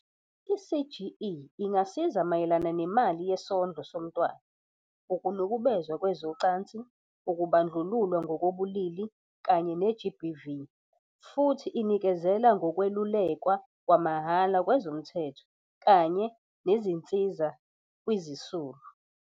I-CGE ingasiza mayelana nemali yesondlo somntwana, ukunukubezwa kwezocansi, ukubandlululwa ngokobulili kanye ne-GBV, futhi inikezela ngokwelulekwa kwamahhala kwezomthetho kanye nezinsiza kwizisulu.